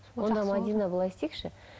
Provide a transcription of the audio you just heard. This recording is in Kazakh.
онда мадина былай істейікші